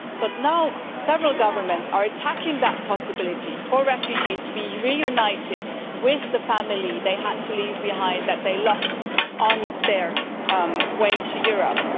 But now several governments are attacking the possibility for refugees to be reunited with the family they had to leave behind that they lost on their way to Europe.